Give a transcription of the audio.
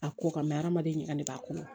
A ko ka mɛ hadamaden ɲagamin'a kɔnɔ